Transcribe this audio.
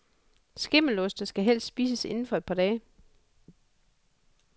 Skimmeloste skal helst spises inden for et par dage.